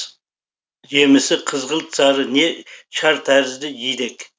жемісі қызғылт сары не шар тәрізді жидек